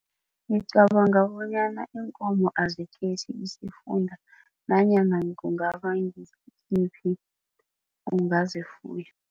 Ngicabanga bonyana iinkomo azikhethi isifunda, nanyana kungaba ngisiphi ungazifuya.